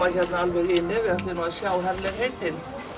alveg inn ef þið ætlið að sjá herlegheitin